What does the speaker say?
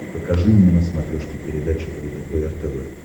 покажи мне на смотрешке передачу лдпр тв